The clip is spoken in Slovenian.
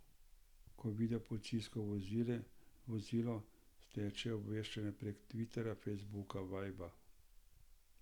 Ko vidijo policijsko vozilo, steče obveščanje prek tviterja, fejsbuka, vajbra.